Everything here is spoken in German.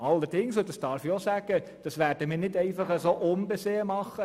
Allerdings – das darf ich auch sagen – werden wir das nicht einfach unbesehen tun.